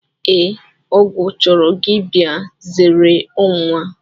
Ee, ọgụ chọrọ gị bịa, zeere ọnwụnwa.